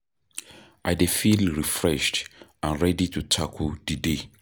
I dey feel refreshed and ready to tackle di day.